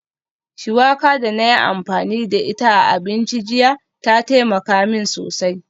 Shuwaka da na yi amfani da ita a abinci jiya ta taimaka min sosai